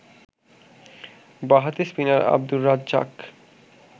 বাঁহাতি স্পিনার আব্দুর রাজ্জাক